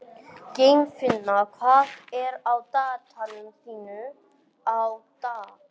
Geirfinna, hvað er á dagatalinu mínu í dag?